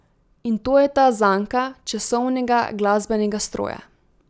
In to je ta zanka časovnega glasbenega stroja.